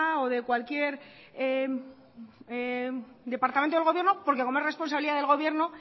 o de cualquier departamento del gobierno porque como es responsabilidad del gobierno